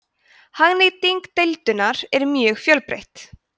hagnýting deildunar er mjög fjölbreytt